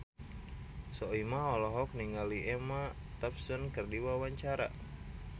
Soimah olohok ningali Emma Thompson keur diwawancara